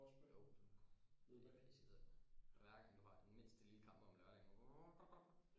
Jo det det er pisseirriterende hver gang du har den mindste lille kamp om lørdagen wrum wrum